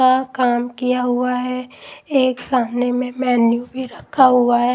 का काम किया हुआ है एक सामने में मेन्यू भी रखा हुआ है ।